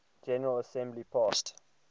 general assembly passed